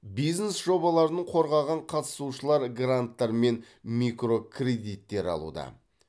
бизнес жобаларын қорғаған қатысушылар гранттар мен микрокредиттер алуда